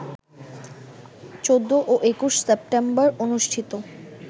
১৪ ও ২১ সেপ্টেম্বর অনুষ্ঠিত